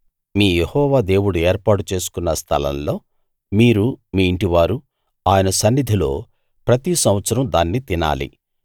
మీ యెహోవా దేవుడు ఏర్పాటు చేసుకున్న స్థలంలో మీరు మీ ఇంటివారు ఆయన సన్నిధిలో ప్రతి సంవత్సరం దాన్ని తినాలి